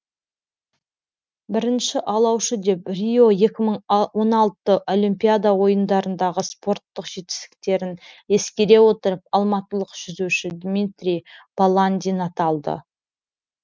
бірінші алаушы деп рио екі мың он алты олимпиада ойындарындағы спорттық жетістіктерін ескере отырып алматылық жүзуші дмитрий баландин аталды